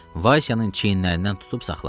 Vaysyanın çiynindən tutub saxladı.